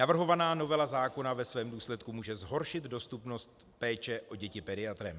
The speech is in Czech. Navrhovaná novela zákona ve svém důsledku může zhoršit dostupnost péče o děti pediatrem.